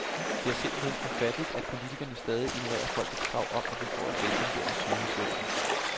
Det er simpelt hen ufatteligt, at politikerne stadig ignorerer folkets krav om, at vi får et velfungerende sygehusvæsen.